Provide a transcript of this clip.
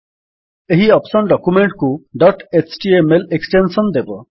ଏହି option document କୁ dot HTML extension ଦେବ